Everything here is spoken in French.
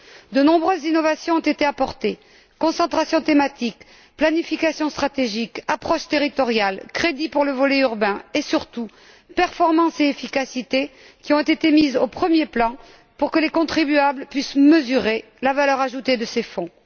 De nombreuses innovations ont été apportées concentration thématique, planification stratégique, approche territoriale, crédits pour le volet urbain et, surtout, performance et efficacité, mises au premier plan pour que les contribuables puissent mesurer la valeur ajoutée de ces fonds.